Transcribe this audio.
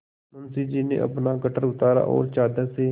मुंशी जी ने अपना गट्ठर उतारा और चादर से